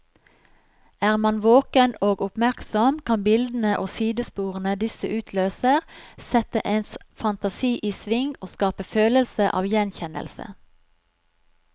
Er man våken og oppmerksom, kan bildene og sidesporene disse utløser, sette ens fantasi i sving og skape følelse av gjenkjennelse.